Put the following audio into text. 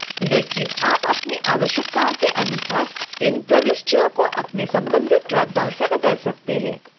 लेकिन आप अपनी आवश्यकताओं के अनुसार इन प्रविष्टियों को अपने संबंधित ड्रॉपडाउन से बदल सकते हैं